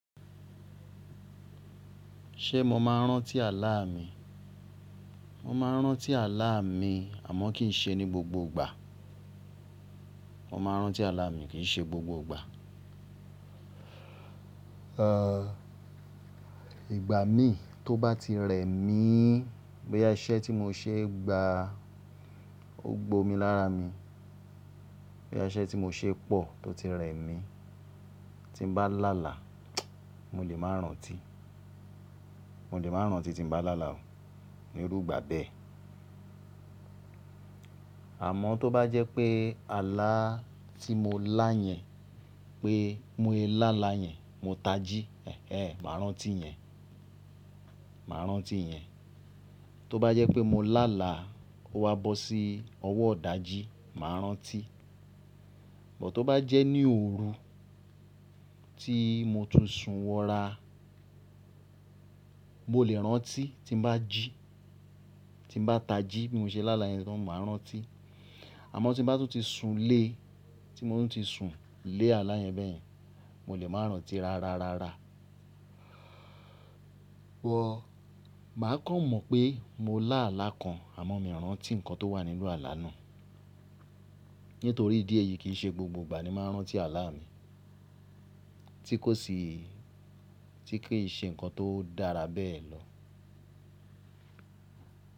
Ṣé mo máa ń rántí àlá mi? Mo máa ń rántí àlá mi àmọ́ kì í ṣe ní gbogbo ìgbà. Mo máa ń rántí àlá mi kì í ṣe gbogbo ìgbà. Ìgbà mí tó bá ti rẹ̀ míì. Bóyá iṣẹ́ tí mo ṣé gba, ó gbo mi lára mi. Bóyá iṣẹ́ tí mo ṣé pọ̀ tó ti rẹ̀ mí, tín bá láàlá, mo lè máa rántí. Mo lè máa rántí tín bá làlà o, nírú ìgbà bẹ́ẹ̀. Àmọ́ tó bá jẹ́ pé alàá tí mo lá yẹn pé mo lè láàlá yẹn, mo tají, ẹẹ́n, máa rántí yẹn. Màá rántí yẹn. Tó bá jẹ́ pé mo làlà ó wa bọ́ sí ọwọ́ ídájí, màá rántí. Bọ̀ tó bá jẹ́ ní òru tí mo tún sùn wọra, mó lè rántí tín bá jí, tín bá tají bí mo ṣe láàlá yẹn tán máa rántí. Àmọ́ tí bá tún ti sùn le tí mo tún ti sùn le alà yẹn bẹ́ẹ̀ yẹn, mo lè máa rántí rárárárá. Wọ̀, màá kàn mọ̀ pé mo lá àlá kan àmọ́ mi ò rántí nǹkan tó wà nínú àlá náà. Nítorí ìdí èyí kì í ṣe gbogbo ìgbà ni màá rántí àlá mi. Tí kò sì, tí kì í ṣe nǹkan tó dára bẹ́ẹ̀ lọ.